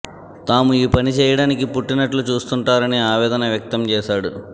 తాము ఈ పని చేయడానికే పుట్టినట్లు చూస్తుంటారని ఆవేదన వ్యక్తం చేశాడు